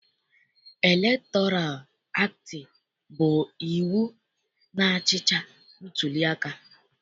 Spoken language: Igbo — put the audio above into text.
Elektoral aktị bụ iwu na-achịcha ntuliaka.